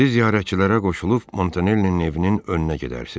Siz ziyarətçilərə qoşulub Montanellinin evinin önünə gedərsiz.